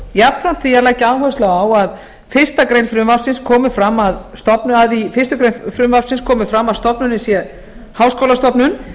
jafnframt því að leggja áherslu á að í fyrstu grein frumvarpsins komi fram að stofnunin sé háskólastofnun